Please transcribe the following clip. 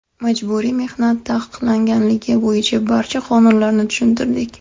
Majburiy mehnat taqiqlanganligi bo‘yicha barcha qonunlarni tushuntirdik.